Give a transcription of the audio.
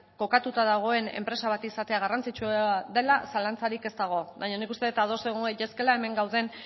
kokatuta dagoen enpresa bat izatea garrantzitsua dela zalantzarik ez dago baino nik uste dut ados egon gaitezkeela hemen gauden